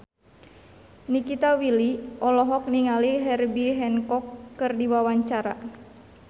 Nikita Willy olohok ningali Herbie Hancock keur diwawancara